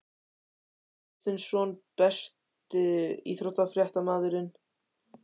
Gunnar Hilmar Kristinsson Besti íþróttafréttamaðurinn?